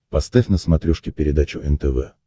поставь на смотрешке передачу нтв